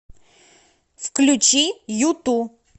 включи юту